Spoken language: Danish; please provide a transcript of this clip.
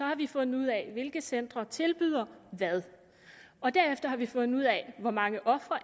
har vi fundet ud af hvilke centre der tilbyder hvad og derefter har vi fundet ud af hvor mange ofre